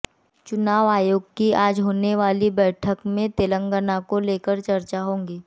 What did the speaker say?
चुनाव आयोग की आज होने वाली बैठक में तेलंगाना को लेकर चर्चा होगी